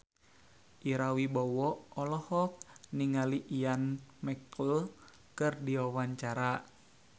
Ira Wibowo olohok ningali Ian McKellen keur diwawancara